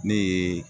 Ne ye